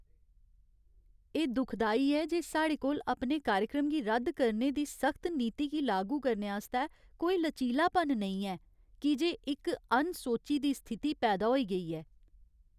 एह् दुखदाई ऐ जे साढ़े कोल अपने कार्यक्रम गी रद्द करने दी सख्त नीति गी लागू करने आस्तै कोई लचीलापन नेईं ऐ, की जे इक अनसोची दी स्थिति पैदा होई गेई ऐ।